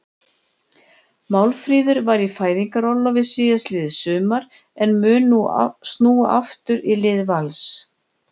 Málfríður var í fæðingarorlofi síðastliðið sumar en mun nú snúa aftur í lið Vals.